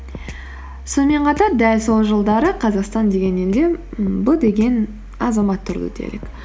сонымен қатар дәл сол жылдары қазақстан деген елде ммм б деген азамат тұрды делік